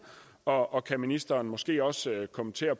og og kan ministeren måske også kommentere